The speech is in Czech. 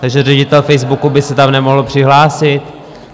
Takže ředitel Facebooku by se tam nemohl přihlásit?